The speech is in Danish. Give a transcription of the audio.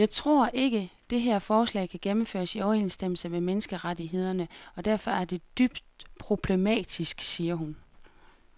Jeg tror ikke, det her forslag kan gennemføres i overensstemmelse med menneskerettighederne og derfor er det dybt problematisk, siger hun.